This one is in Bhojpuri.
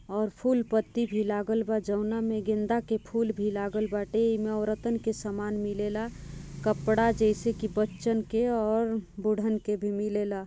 और फूल पत्ती भी लागल बा जवना में गेंदा के फूल भी लागल बाटे एमे औरतन के सामान मिलेला कपड़ा जैसे कि बच्चन के और भुड्डन के भी मिलेला ।